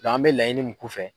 an mɛ laɲini mun k'u fɛ